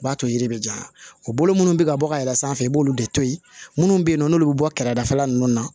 O b'a to yiri bɛ jan o bolo munnu bɛ ka bɔ ka yɛlɛ sanfɛ i b'olu de to ye minnu bɛ yen nɔ n'olu bɛ bɔ kɛrɛda fɛla ninnu na